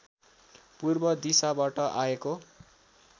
पूर्व दिशाबाट आएको